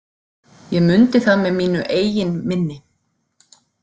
Ég mundi það með mínu eigin minni!